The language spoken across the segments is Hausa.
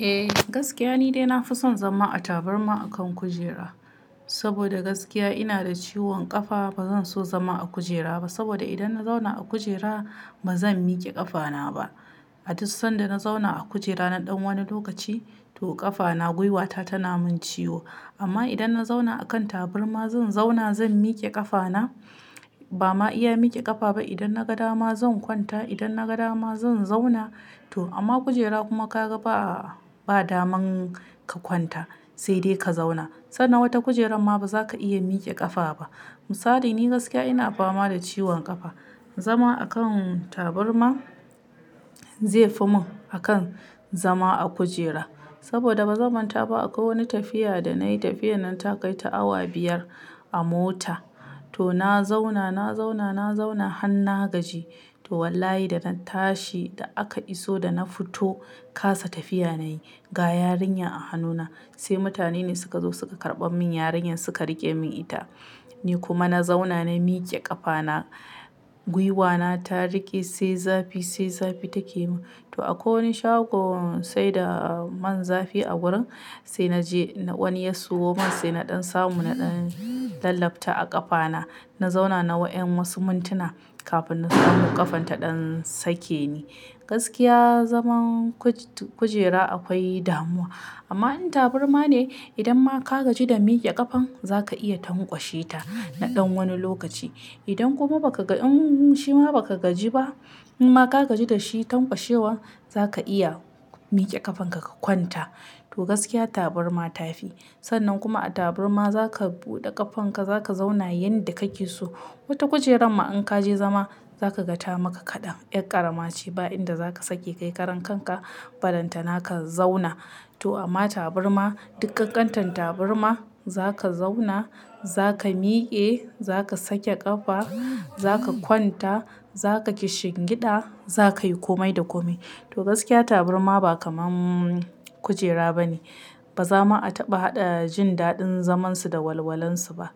Eh gaskiya ni dai na fi son zama a taburma akan kujera, saboda gaskiya ina da ciwon ƙafa. Ba zan so zama a kujera ba saboda idan na zauna a kujera ba zan miƙe ƙafana ba. A tus sanda na zauna a kujera na ɗan wani lokaci to ƙafana gwiwata tana min ciwo. Amma idan na zauna a kan taburma, zan zauna zan miƙe ƙafana. Ba ma iya miƙe ƙafa ba idan na ga dama zan kwanta. Idan na ga dama zan zauna to amma kujera kuma ka ga ba, ba daman ka kwanta sai dai ka zauna. Sannan wata kujerar ma ba za ka iya miƙe ƙafa ba. Misali ni gaskiya ina fama da ciwon ƙafa, zama akan taburma zai fi mun akan zama a kujera saboda ba zaman ta ba. Akwai wani tafiya da na yi, tafiyar nan ta kai ta awa biyar a mota to na zauna, na zauna, na zauna har na gaji to wallahi da na tashi da aka iso da na fito kasa tafiya na yi. Ga yarinya a hannuna sai mutane ne suka zo suka karɓan min yarinyar suka riƙe min ita. Ni kuma na zauna na miƙe ƙafana, gwiwana ta riƙe sai zafi, sai zafi take min. To akwai wani shagon sai da man zafi a gurin sai na je na wani ya siyo man sai na ɗan samu na ɗan lallabta a ƙafana. Na zauna na wa ƴan wasu muntuna kafin na samu ƙafan ta ɗan sake ni. Gaskiya zaman kuj-kujera akwai damuwa amma in taburma ne idan ma ka gaji da miƙe ƙafan za ka iya tankwashe ta na ɗan wani lokaci. Idan kuma ba ka ga in shima ba ka gaji ba imma ka gaji da shi tankwashewa za ka iya miƙe ƙafanka ka kwanta. To gaskiya taburma ta fi sannan kuma a taburma za ka buɗe ƙafanka za ka zauna yanda kake so. Wata kujerar ma in ka je zama za ka ga ta maka kaɗan, ƴar ƙarama ce ba inda za ka sake kai karan kanka ba. Dan tana ka zauna. To amma taburma, dik kakkantan taburma za ka zauna, za ka miƙe, za ka sake ƙafa, za ka kwanta, za ka kishingiɗa, za ka yi komai da komai. To gaskiya taburma ba kamar kujera ba ne. Ba zama a taɓa haɗa jin daɗin zamansu da walwalansu ba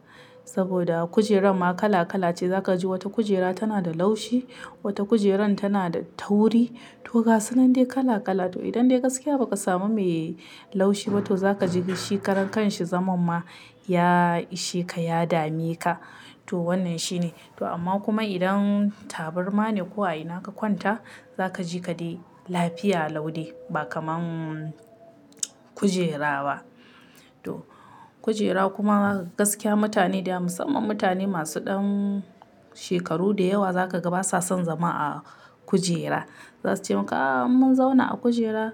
saboda kujerar ma kala kala ce. Za ka ji wata kujera tana da laushi, wata kujerar tana da tauri. To gasu nan dai kala kala. To idan dai gaskiya ba ka samu mai laushi ba to za ka ji shi karan kanshi zaman ma ya ishe ka ya dame ka. To wannan shi ne. To amma kuma idan taburma ne ko a ina ka kwanta za ka ji ka dai lafiya lau de ba kaman kujera ba. To kujera kuma gaskiya mutane da yawa musamman mutane masu ɗan shekaru da yawa za ka ga basa son zama a kujera. Zasu ce maka ah mun zauna a kujera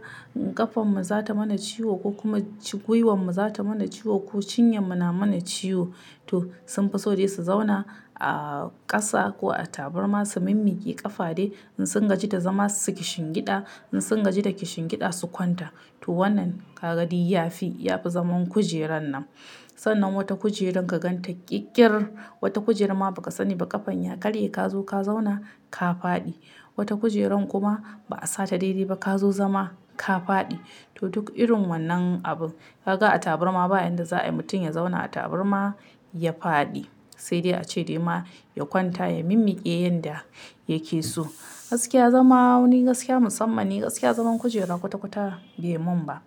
ƙafan mu za ta mana ciwo ko kuma gwiwan mu za ta mana ciwo ko cinyan mu na mana ciwo. To sun fi so dai su zauna a ƙasa ko a taburma su mimmiƙe ƙafa dai in sun gaji da zama su kishingiɗa. In sun gaji da kishingiɗa su kwanta. To wannan ka ga dai yafi yafi zaman kujerar nan. Sannan wata kujeran ka gan ta ƙirƙirin, wata kujera ma ba ka sani ba ƙafan ya karye ka zo ka zauna ka faɗi. Wata kujerar kuma ba a sa ta dai dai ba ka zo zama ka faɗi. To duk irin wannan abun ka ga a taburma ba inda za a yi mutum ya zauna a taburma ya faɗi sai dai a ce dai ma ya kwanta ya mimmiƙe yanda yake so. Gaskiya zama wani gaskiya musamma ni gaskiya zaman kujera kwata kwata bai mun ba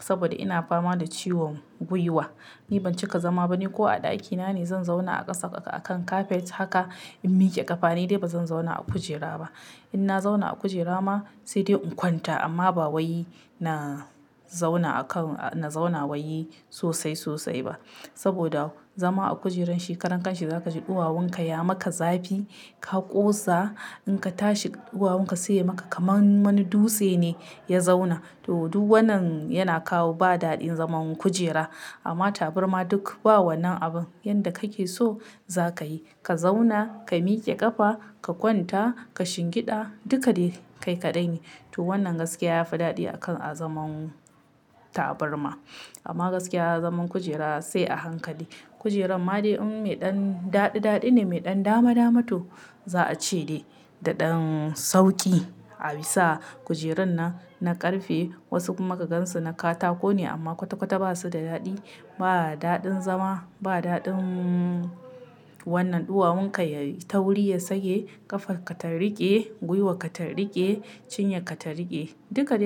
saboda ina fama da ciwon gwiwa. Ni ban cika zama ba ni ko a ɗakina ne zan zauna a ƙasa akan kafet haka in miƙe ƙafa. Ni dai bazan zauna a kujera ba. In na zauna a kujera ma sai dai in kwanta amma ba wai na zauna akan, na zauna wai sosai sosai ba saboda zama a kujeran shi karan kanshi za ka ji duwawun ka ya maka zafi ka kosa in ka tashi duwawun ka sai ya maka kaman wani dutse ne ya zauna. To duk wannan yana kawo ba daɗin zaman kujera amma taburma duk ba wannan abun. Yanda kake so za ka yi. Ka zauna, ka miƙe ƙafa, ka kwanta, ka shingiɗa duka dai kai kaɗai ne. To wannan gaskiya yafi daɗi a kan a zaman taburma amma gaskiya zaman kujera sai a hankali. Kujerar ma dai in mai ɗan daɗi daɗi ne mai ɗan dama dama to za a ce dai da ɗan sauki a bisa kujerun nan na ƙarfe. Wasu kuma ka gansu na katako ne amma kwata kwata ba su da daɗi. Ba daɗin zama ba daɗin wannan duwawunka yai tauri ya sake ƙafarka ta riƙe, gwiwarka ta riƙe, cinyarka ta riƙe duka dai-